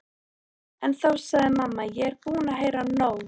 En þá sagði mamma: Ég er búin að heyra nóg!